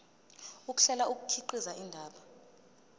ukuhlela kukhiqiza indaba